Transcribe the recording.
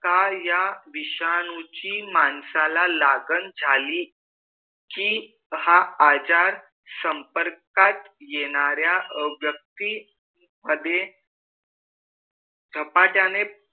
का या विषयांची माणसाला लागन झाली की हा आजार संपर्कात येण्यारया व्यक्ति मधे झपाटने